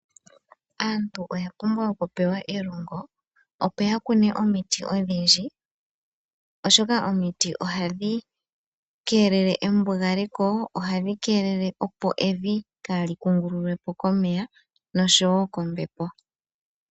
Aantu oya pumbwa elongo opo ya kune omiti odhindji oshoka ohadhi keelele embugaleko dho ohadhi keelele evi opo kaali kungululwepo komeya